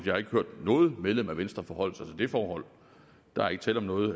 har ikke hørt noget medlem af venstre forholde sig til det forhold der er ikke tale om noget